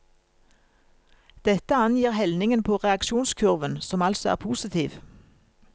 Dette angir helningen på reaksjonskurven, som altså er positiv.